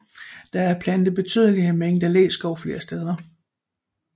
Der er plantet betydelige mængder læskov flere steder